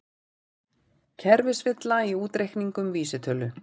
Kerfisvilla í útreikningum vísitölu